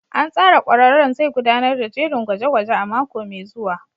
An tsara ƙwararren zai gudanar da jerin gwaje-gwaje a mako mai zuwa.